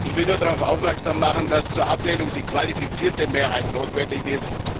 Ich will nur darauf aufmerksam machen, dass zur Ablehnung die qualifizierte Mehrheit notwendig ist.